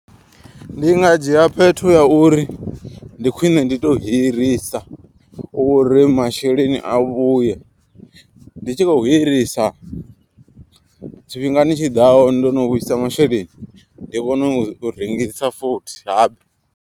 Ndi nga dzhia phetho ya uri ndi khwine ndi to hirisa uri masheleni a vhuye. Ndi tshi khou hirisa tshifhingani tshiḓaho ndono vhuisa masheleni ndi kone u rengisa futhi habe.